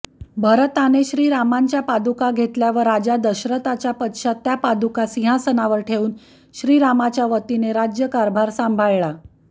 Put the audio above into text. भरताने श्रीरामांच्या पादुका घेतल्या व राजा दशरथाच्या पश्चात त्या पादुका सिंहासनावर ठेवून श्रीरामाच्यावतीने राज्यकारभार सांभाळला